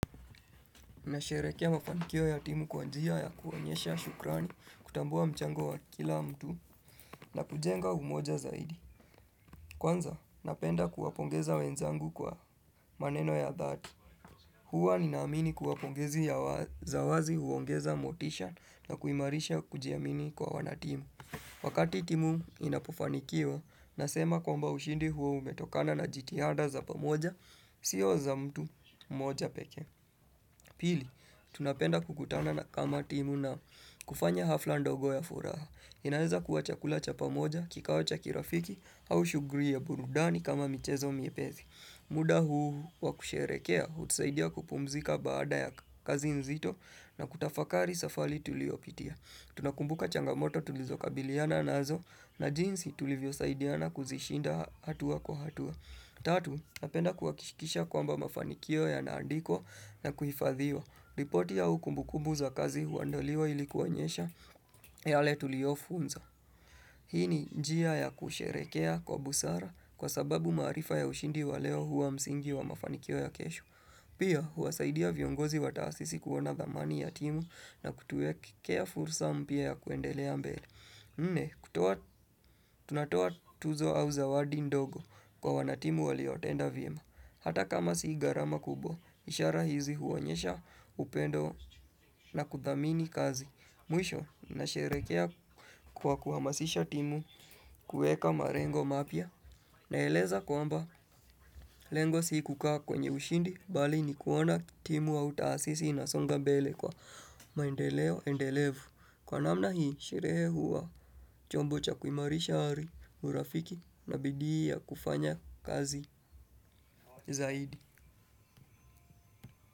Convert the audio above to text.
Nasherehekea mafanikio ya timu kwa njia ya kuonyesha shukrani, kutambua mchango wa kila mtu na kujenga umoja zaidi. Kwanza, napenda kuwapongeza wenzangu kwa maneno ya dhati. Huwa ninaamini kuwa pongezi ya za wazi huongeza motisha na kuimarisha kujiamini kwa wanatimu. Wakati timu inapofanikia, nasema kwamba ushindi huo umetokana na jitihada za pamoja, siyo za mtu mmoja pekee. Pili, tunapenda kukutana na kama timu na kufanya hafla ndogo ya furaha. Inaeza kuwa chakula cha pamoja, kikao cha kirafiki, au shughuli ya burudani kama michezo miepezi. Muda huu wakusherekea, hutusaidia kupumzika baada ya kazi nzito na kutafakari safali tuliyo pitia. Tunakumbuka changamoto tulizokabiliana nazo na jinsi tulivyosaidiana kuzishinda hatua kwa hatua. Tatu, napenda kuhakishikisha kwamba mafanikio yanaandikwa na kuhifadhiwa. Ripoti au kumbukubu za kazi huandoliwa ilikuonyesha yaletuliyofunza. Hii ni njia ya kusherehekea kwa busara kwa sababu marifa ya ushindi wa leo huwa msingi wa mafanikio ya kesho. Pia, huwasaidia viongozi wa taasisi kuona dhamani ya timu na kutuwekea fursa mpya ya kuendelea mbele. Nne, tunatoa tuzo au zawadi ndogo kwa wanatimu waliotenda vyema. Hata kama sigharama kubwa, ishara hizi huonyesha upendo na kuthamini kazi. Mwisho, nasherekea kwa kuhamasisha timu, kuweka marengo mapya. Naeleza kwamba, lengo si kukaa kwenye ushindi, bali ni kuona timu au taasisi inasonga mbele kwa maendeleo, endelevu. Kwa namna hii, sherehe huwa chombo cha kuimarisha hali, urafiki na bidia kufanya kazi zaidi.